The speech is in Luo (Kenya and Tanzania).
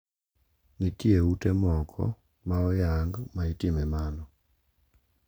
Nitie ute moko ma oyang ma itime mano.